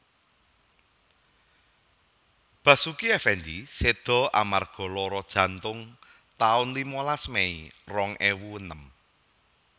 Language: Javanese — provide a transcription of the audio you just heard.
Basuki Effendy seda amarga lara jantung taun limalas Mei rong ewu enem